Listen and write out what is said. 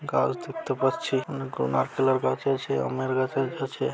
গাছ দেখতে পাচ্ছি অনেক গুল নারকেল গাছ আমের গাছ আছে।